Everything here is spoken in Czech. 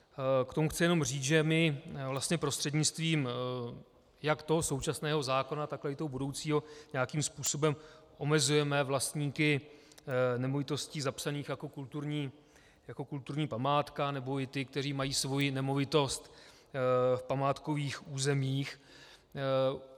K tomu chci jenom říct, že my prostřednictvím jak toho současného zákona, tak toho budoucího nějakým způsobem omezujeme vlastníky nemovitostí zapsaných jako kulturní památka nebo i ty, kteří mají svoji nemovitost v památkových územích.